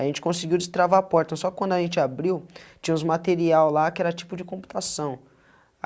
A gente conseguiu destravar a porta, só quando a gente abriu, tinham os material lá que era tipo de computação.